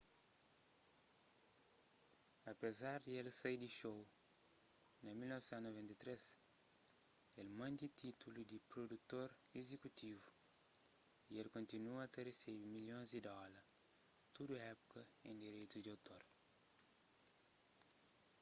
apezar di el sai di xou na 1993 el mante títulu di prudutor izikutivu y el kontinua ta resebe milhons di dóla tudu épuka en direitus di outor